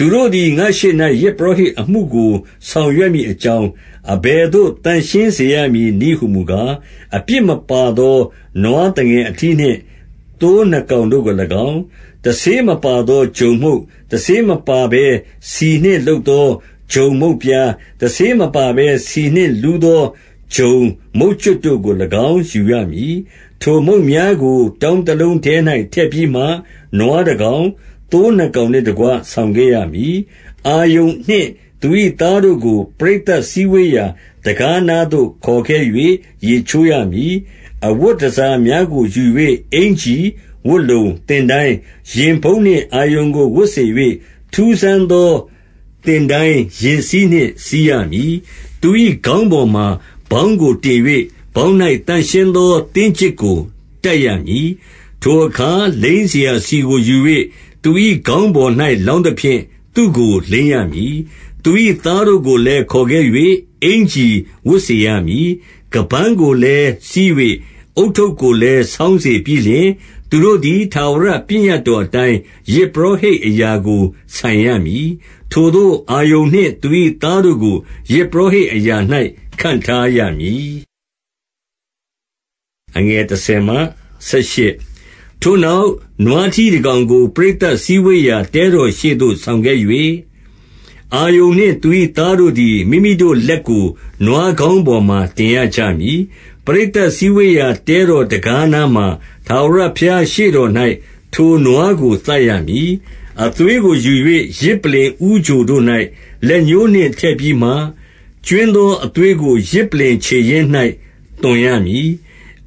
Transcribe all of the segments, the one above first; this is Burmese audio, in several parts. သူတို့သည် ငါ့ရှေ့၌ ယဇ်ပုရောဟိတ်အမှုကို ဆောင်ရွက်မည်အကြောင်း၊ အဘယ်သို့ သန့်ရှင်းစေရမည် နည်းဟူမူကား၊ အပြစ်မပါသော နွားသငယ်အထီးနှင့် သိုးနှစ်ကောင်တို့ကို၎င်း၊ 2 တဆေးမပါသော ဂျုံမုန့်၊ တဆေးမပါဘဲ ဆီနှင့်လုပ်သော ဂျုံမုန့်ပြား၊ တဆေးမပါဘဲ ဆီနှင့်လုပ်သော ဂျုံမုန့်ကြွပ်တို့ကို၎င်း ယူရမည်။ 3 ထိုမုန့်များကို တောင်းတလုံးထဲ၌ ထည့်ပြီးမှ၊ နွားတကောင်၊ သိုးနှစ်ကောင်နှင့်တကွ ဆောင်ခဲ့ရမည်။ 4 အာရုန်နှင့်သူ၏သားတို့ကို၊ ပရိသတ် စည်းဝေးရာ တံခါးနားသို့ ခေါ်ခဲ့၍ ရေချိုးရမည်။ 5 အဝတ်တန်ဆာများကိုယူ၍၊ အင်္ကျီ၊ ဝတ်လုံ၊ သင်တိုင်း၊ ရင်ဖုံးနှင့် အာရုန်ကို ဝတ်စေ၍၊ ထူးဆန်းသော သင်တိုင်းရင်စည်းနှင့် စည်းရမည်။ 6 သူ၏ ခေါင်းပေါ်မှာ ဗေါင်းကိုတင်၍၊ ဗေါင်း၌သန့်ရှင်းသော သင်းကျစ်ကို တပ်ရမည်။ 7 ထိုအခါ လိမ်းစရာ ဆီကိုယူ၍ သူ၏ ခေါင်းပေါ်၌ လောင်းသဖြင့် သူ့ကိုလိမ်းရမည်။ 8 သူ၏သားတို့ကိုလည်း ခေါ်ခဲ့၍ အင်္ကျီဝတ်စေရမည်။ 9 ခါးပန်းကိုလည်း စည်း၍၊ ဦးထုပ်ကိုလည်း ဆောင်းစေပြီးလျှင်။ သူတို့သည် ထာဝရပညတ်တော် အတိုင်း ယဇ်ပုရောဟိတ်အရာကို ဆိုင်ရမည်။ ထိုသို့ အာရုန်နှင့် သူ၏သားတို့ကို၊ ယဇ်ပုရောဟိတ် အရာ၌ ခန့်ထားရမည်။ 10 ထိုနောက်၊ နွားထီးတကောင်ကို ပရိသတ်စည်းဝေးရာ တဲတော်ရှေ့သို့ ဆောင်ခဲ့၍၊ အာရုန်နှင့် သူ၏ သားတို့သည်၊ မိမိတို့ လက်ကို နွားခေါင်းပေါ်မှာ တင်ရကြမည်။ 11 ပရိသတ်စည်းဝေးရာ တဲတော်တံခါးနားမှာ ထာဝရဘုရားရှေ့တော်၌ ထိုနွားကို သတ်ရမည်။ 12 အသွေးကို ယူ၍ ယဇ်ပလ္လင်ဦးချိုတို့၌ လက်ညှိုးနှင့်ထည့်ပြီးမှ၊ ကြွင်းသောအသွေးကို ယဇ်ပလ္လင် ခြေရင်းနား၌ သွန်ရမည်။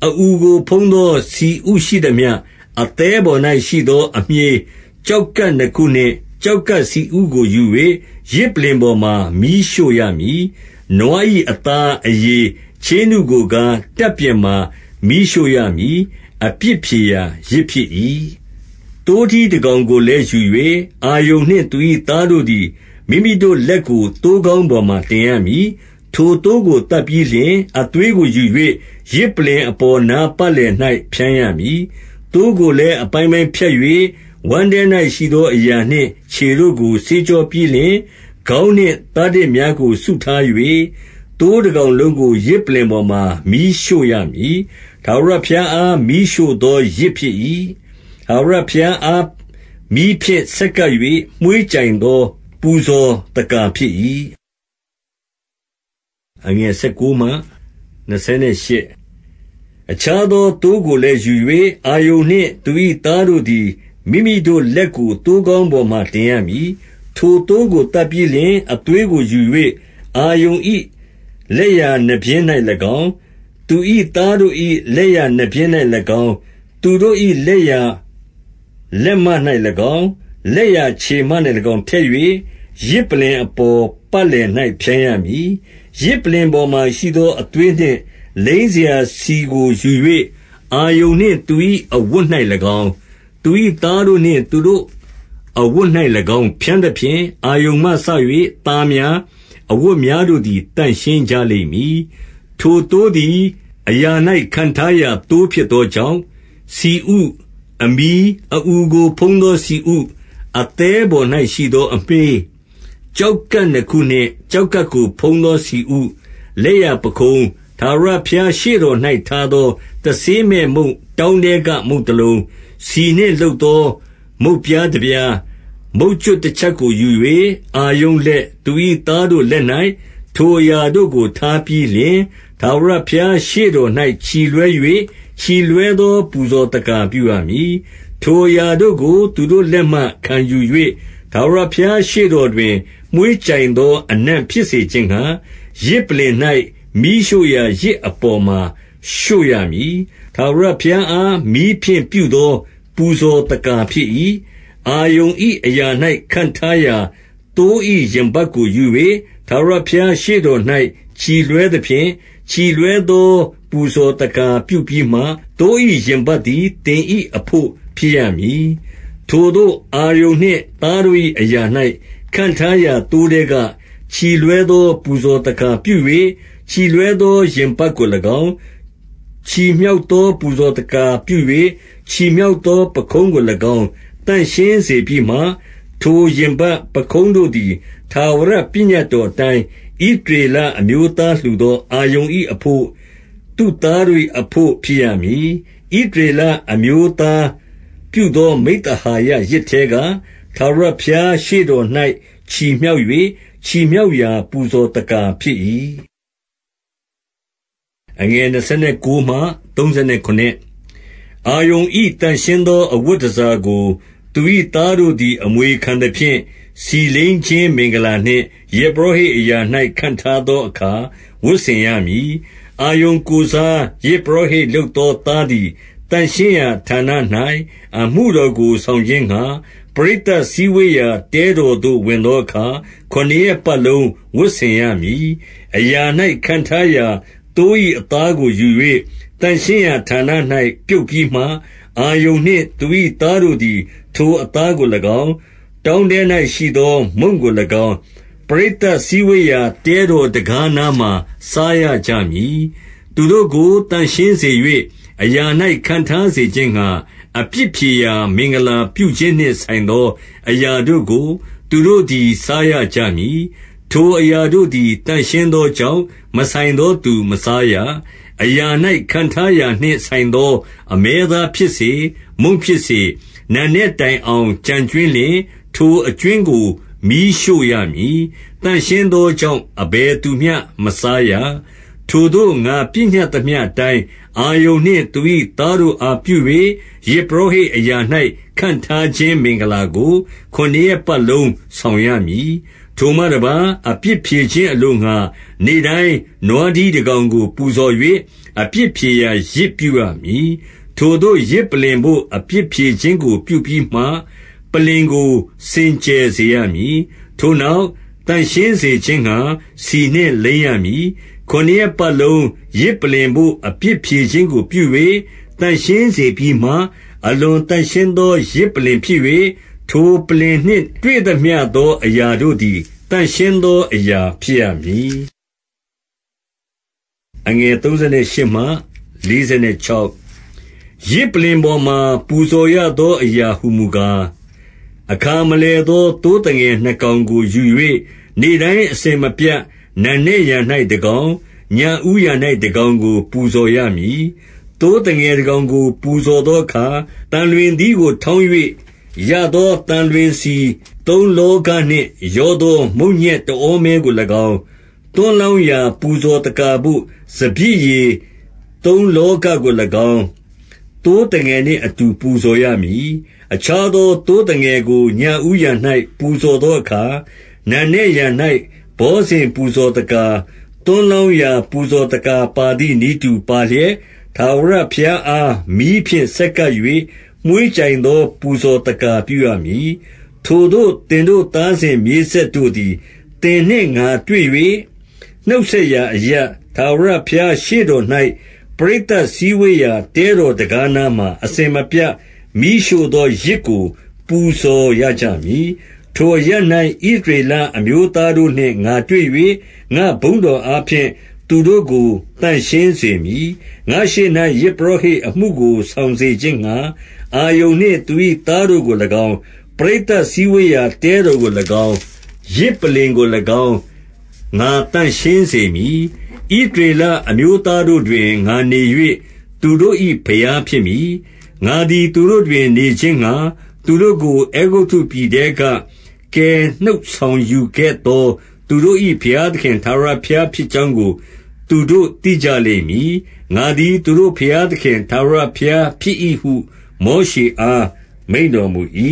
13 အအူကို ဖုံးသောဆီဥရှိသမျှ၊ အသည်းပေါ်၌ ရှိသောအမြှေး၊ ကျောက်ကပ်နှစ်ခုနှင့် ကျောက်ကပ် ဆီဥကိုယူ၍ ယဇ်ပလ္လင်ပေါ်မှာ မီးရှို့ရမည်။ 14 နွား၏အသား၊ အရေး၊ ချေးနုကိုကား၊ တပ်ပြင်မှာ မီးရှို့ရမည်။ အပြစ်ဖြေရာယဇ် ဖြစ်၏ 15 သိုးထီးတကောင်ကိုလည်း ယူ၍၊ အာရုန်နှင့် သူ၏သားတို့သည်၊ မိမိတို့လက်ကို သိုးခေါင်းပေါ်မှာ တင်ရမည်။ 16 ထိုသိုးကို သတ်ပြီးလျှင် အသွေးကိုယူ၍ ယဇ်ပလ္လင်အပေါ်နား ပတ်လည်၌ ဖြန်းရမည်။ 17 သိုးကိုလည်း အပိုင်းပိုင်းဖြတ်၍ ဝမ်းထဲ၌ရှိသောအရာနှင့်ခြေတို့ကို ဆေးကြောပြီးလျှင်၊ ခေါင်းနှင့် သားတစ်များကို စုထား၍၊ 18 သိုးတကောင်လုံးကို ယဇ်ပလ္လင်ပေါ်မှာ မီးရှို့ရမည်။ ထာဝရဘုရားအား မီးရှို့သောယဇ်ဖြစ်၏။ ထာဝရဘုရားအား မီးဖြင့် ဆက်ကပ်၍၊ မွှေးကြိုင်သော ပူဇော်သက္ကာဖြစ်၏။ 19 အခြားသော သိုးကိုလည်းယူ၍၊ အာရုန်နှင့် သူ၏သားတို့သည် မိမိတို့လက်ကို သိုးခေါင်းပေါ်မှာ တင်ရမည်။ 20 ထိုသိုးကို သတ်ပြီးလျင် အသွေးကိုယူ၍ အာရုန်၏ လက်ျာနားပျဉ်း၌၎င်း၊ သူ၏သားတို့၏ လက်ျာနားပျဉ်း၌၎င်း။ သူတို့၏ လက်ျာလက်မ၌၎င်း၊ လက်ျာခြေမ၌၎င်း ထည့်၍၊ ယဇ်ပလ္လင်အပေါ် ပတ်လည်၌ ဖြန်းရမည်။ 21 ယဇ်ပလ္လင်ပေါ်မှာရှိသော အသွေးနှင့် လိမ်းစရာဆီကိုယူ၍ အာရုန်နှင့် သူ၏ အဝတ်၌၎င်း၊ သူ၏ သားတို့နှင့်သူတို့ အဝတ်၌၎င်း၊ ဖြန်းသဖြင့်၊ အာရုန်မှစ၍ သားများ၊ အဝတ်များတို့သည် သန့်ရှင်း ကြလိမ့်မည်။ 22 ထိုသိုးသည် အရာ၌ ခန့်ထားရာသိုး ဖြစ်သောကြောင့်၊ ဆီဥ၊ အမြီး၊ အအူကို ဖုံးသောဆီဥ၊ အသည်း ပေါ်၌ ရှိသောအမြှေး ကျောက်ကပ်နှစ်ခုနှင့် ကျောက်ကပ်ကိုဖုံးသော ဆီဥ၊ လက်ျာပခုံး၊ 23 ထာဝရဘုရား ရှေ့တော၌ထားသော တဆေးမဲ့ မုန့်တောင်းထဲက မုန်တလုံး၊ ဆီနှင့် လုပ်သော မုန့်ပြားတပြား၊ မုန့်ကြွပ်တချပ်ကို ယူ၍၊ 24 အာရုန်လက်၊ သူ၏ သားတို့လက်၌ ထိုအရာတို့ကို ထားပြီးလျှင်၊ ထာဝရ ဘုရားရှေ့တော်၌ ချီလွှဲ၍၊ ချီလွှဲသော ပူဇော်သက္ကာ ပြုရမည်။ 25 ထိုအရာတို့ကို သူတို့လက်မှ ခံယူ၍၊ ထာဝရဘုရား ရှေ့တော်တွင် မွှေးကြိုင်သောအနံ့ ဖြစ်စေခြင်းငှါ၊ ယဇ်ပလ္လင်၌ မီးရှို့ရာ ယဇ်အပေါ်မှာ ရှို့ရမည်။ ထာဝရဘုရားအား မီးဖြင့် ပြုသော ပူဇော်သက္ကာ ဖြစ်၏။ 26 အာရုန်၏အရာ၌ ခန့်ထားရာ သိုး၏ရင်ပတ်ကို ယူ၍၊ ထာဝရဘုရား ရှေ့တော်၌ ချီလွှဲသဖြင့်၊ ချီလွှဲသော ပူဇော်သက္ကာပြုပြီးမှ၊ သိုး၏ ရင်ပတ်သည် သင်၏အဘို့ ဖြစ်ရမည်။ 27 ထိုသို့ အာရုန်နှင့်သားတို့၏ အရာ၌ ခန့်ထားသော သိုးထဲက၊ ချီလွှဲသော ပူဇော်သက္ကာပြု၍၊ ချီလွှဲ သော ရင်ပတ်ကို၎င်း၊ ချီမြှောက်သော ပူဇော်သက္ကာပြု၍၊ ချီမြှောက်သော ပခုံးကို၎င်း သန့်ရှင်းစေ ပြီးမှ၊ 28 ထိုရင်ပတ်၊ ပခုံးတို့သည် ထာဝရပညတ်တော်အတိုင်း၊ ဣသရေလအမျိုးသားလှူသော အာရုန်၏ အဘို့၊ သူ့သားတို့၏အဘို့ ဖြစ်ရမည်။ ဣသရေလအမျိုးသားပြုသော မိဿဟာယယဇ်ထဲက၊ ထာဝရ ဘုရား ရှေ့တော်၌ ချီးမြှောက်၍၊ ချီးမြှောက်ရာ ပူဇော်သက္ကာ ဖြစ်၏။ 29 အာရုန်၏ သန့်ရှင်းသော အဝတ်တန်ဆာကို၊ သူ၏သားတို့သည် အမွေခံသဖြင့်၊ ဆီလိမ်းခြင်း မင်္ဂလာနှင့် ယဇ်ပုရောဟိတ်အရာ၌ ခန့်ထားသောအခါ၊ 30 အာရုန်ကိုယ်စား ယဇ်ပုရောဟိတ်လုပ်သော သားသည်၊ သန့်ရှင်းရာဌာန၌ အမှုတော်ကို ဆောင်ခြင်းငှါ၊ ပရိသတ်စည်းဝေးရာ တဲတော်သို့ ဝင်သောအခါ ခုနစ်ရက်ပတ်လုံး ဝတ်ဆင်ရမည်။ 31 အရာ၌ခန့်ထားရာ သိုး၏အသားကို ယူ၍၊ သန့်ရှင်းရာဌာန၌ ပြုတ်ပြီးမှ၊ 32 အာရုန်နှင့် သူ၏သားတို့သည် ထိုအသားကို၎င်း၊ တောင်းထဲ၌ ရှိသောမုန့်ကို၎င်း၊ ပရိသတ်စည်းဝေးရာ တဲတော်တံခါးနားမှာ စားရကြမည်။ 33 သူတို့ကို သန့်ရှင်းစေ၍၊ အရာ၌ ခန့်ထားစေခြင်းငှါ၊ အပြစ်ဖြေရာ မင်္ဂလာပြုခြင်းနှင့် ဆိုင်သော အရာတို့ကို၊ သူတို့သည် စားရကြမည်။ ထိုအရာတို့သည် သန့်ရှင်းသောကြောင့်၊ မဆိုင်သောသူ မစားရ။ 34 အရာ၌ ခန့်ထားရာနှင့် ဆိုင်သော အမဲသားဖြစ်စေ၊ မုန့်ဖြစ်စေ၊ နံနက်တိုင်အောင် ကျန်ကြွင်းလျှင်၊ ထိုအကြွင်းကို မီးရှို့ရမည်။ သန့်ရှင်းသောကြောင့်၊ အဘယ်သူမျှ မစားရ။ 35 ထိုသို့ ငါပညတ်သမျှအတိုင်း အာရုန်နှင့် သူ၏ သားတို့ အားပြု၍၊ ယဇ်ပုရောဟိတ်အရာ၌ ခန့် ထားခြင်း မင်္ဂလာကို၊ ခုနစ်ရက်ပတ်လုံးဆောင်ရမည်။ 36 ထိုမှတပါး၊ အပြစ်ဖြေခြင်းအလိုငှါ၊ နေ့တိုင်း နွားထီးတကောင်ကို ပူဇော်၍၊ အပြစ်ဖြေရာယဇ် ပြုရမည်။ ထိုသို့ ယဇ်ပလ္လင်ဘို့ အပြစ်ဖြေခြင်းကို ပြုပြီးမှ၊ ပလ္လင်ကို စင်ကြယ်စေရမည်။ ထို့နောက် သန့်ရှင်း စေခြင်းငှါ ဆီနှင့် လိမ်းရမည်။ 37 ခုနစ်ရက်ပတ်လုံး ယဇ်ပလ္လင်ဘို့ အပြစ်ဖြေခြင်းကို ပြု၍ သန့်ရှင်းစေပြီးမှ၊ အလွန်သန့်ရှင်းသော ယဇ်ပလ္လင်ဖြစ်၍၊ ထိုပလ္လင်နှင့် တွေ့သမျှသောအရာတို့သည် သန့်ရှင်းသောအရာ ဖြစ်ရမည်။ 38 ယဇ်ပလ္လင်ပေါ်မှာ ပူဇော်ရသောအရာ ဟူမူကား၊ အခါမလည်သော သိုးသငယ် နှစ်ကောင်ကို ယူ၍၊ 39 နေ့တိုင်းအစဉ်မပြတ် နံနက်ယံ၌ တကောင်၊ ညဦးယံ၌ တကောင်ကို ပူဇော်ရမည်။ 40 သိုးသငယ်တကောင်ကို ပူဇော်သောအခါ၊ သံလွင်သီးကိုထောင်း၍၊ ရသော သံလွင်ဆီသုံးလောဃ နှင့် ရောသော မုန့်ညက်တဩမဲကို၎င်း၊ သွန်းလောင်းရာ ပူဇော်သက္ကာဘို့ စပျစ်ရည် သုံးလောဃကို ၎င်း၊ သိုးသငယ်နှင့် အတူ ပူဇော်ရမည်။ 41 အခြားသော သိုးသငယ်ကို ညဦးယံ၌ ပူဇော်သောအခါ၊ နံနက်ယံ၌ ဘောဇဉ် ပူဇော်သက္ကာ၊ သွန်းလောင်းရာ ပူဇော်သက္ကာပါသည်နည်းတူပါလျက်၊ ထာဝရဘုရားအား မီးဖြင့် ဆက်ကပ်၍၊ မွှေးကြိုင်သော ပူဇော်သက္ကာပြုရမည်။ 42 ထိုသို့ သင်တို့သားစဉ်မြေးဆက်တို့သည် သင်နှင့်ငါတွေ့၍ နှုတ်ဆက်ရာအရပ်၊ ထာဝရဘုရား ရှေ့တော် ၌၊ ပရိသတ်စည်းဝေးရာ တဲတော်တံခါးနားမှာ အစဉ်မပြတ် မီးရှို့သောယဇ်ကို ပူဇော်ရကြမည်။ 43 ထိုအရပ်၌ ဣသရေလအမျိုးသားတို့နှင့် ငါတွေ့၍၊ ငါ့ဘုန်းတော်အားဖြင့် သူတို့ကို သန့်ရှင်းစေမည်။ 44 ငါ့ရှေ့၌ ယဇ်ပုရောဟိတ်အမှုကို ဆောင်စေ ခြင်းငှါ၊ အာရုန်နှင့် သူ၏သားတို့ကို၎င်း၊ ပရိသတ် စည်းဝေးရာ တဲတော်ကို၎င်း၊ ယဇ်ပလ္လင်ကို၎င်း၊ ငါသန့်ရှင်းစေမည်။ 45 ဣသရေလအမျိုးသားတို့တွင် ငါနေ၍၊ သူတို့၏ ဘုရားဖြစ်မည်။ 46 ငါသည် သူတို့တွင် နေခြင်းငှါ၊ သူတို့ကို အဲဂုတ္တုပြည်ထဲက ကယ်နှုတ်ဆောင်ယူခဲ့သော သူတို့၏ ဘုရားသခင် ထာဝရဘုရားဖြစ်ကြောင်းကို သူတို့ သိကြလိမ့်မည်။ ငါသည် သူတို့ ဘုရားသခင် ထာဝရဘုရားဖြစ်၏ဟု မောရှေအား မိန့်တော်မူ၏။